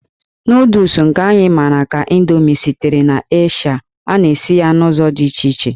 Nụụdụls nke anyị mara ka Indomi sitere n'Eshịa, a na-esi ya n'ụzọ dị iche iche.